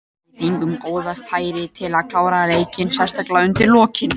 Við fengum góð færi til að klára leikinn, sérstaklega undir lokin.